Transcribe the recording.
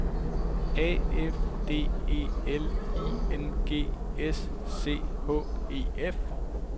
A F D E L I N G S C H E F